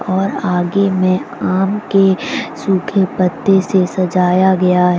और आगे में आम के सूखे पत्ते से सजाया गया है।